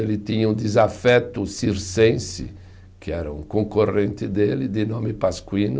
Ele tinha um desafeto circense, que era um concorrente dele, de nome Pasquino.